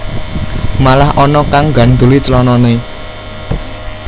Malah ana kang nggandhuli clanane